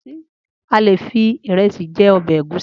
Alè fi iresi je obe egusi